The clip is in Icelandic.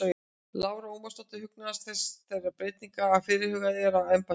Lára Ómarsdóttir: Hugnast þér þessar breytingar sem að fyrirhugaðar eru á embættinu?